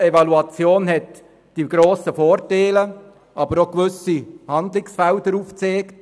Eine Evaluation hat grosse Vorteile, aber auch einen gewissen Handlungsbedarf aufgezeigt.